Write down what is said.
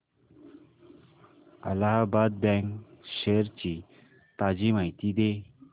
Allahabad bank shares ची ताजी माहिती दे